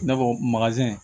I n'a fɔ